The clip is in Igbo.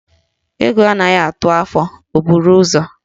Egwu anaghị atụ afọ, o buru ụzọ.